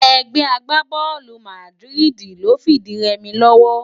Ègbè àgbábòlú Màdiridi ló n fi di rèmi lòwò